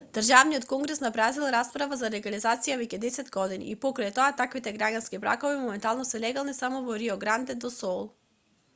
државниот конгрес на бразил расправа за легализацијата веќе десет години и покрај тоа таквите граѓански бракови моментално се легални само во рио гранде до сул